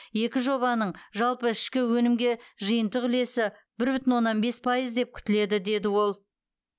екі жобаның жалпы ішкі өнімге жиынтық үлесі бір бүтін оннан бес пайыз деп күтіледі деді ол